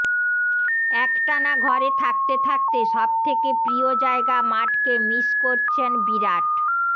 একটানা ঘরে থাকতে থাকতে সবথেকে প্রিয় জায়গা মাঠকে মিস করছেন বিরাট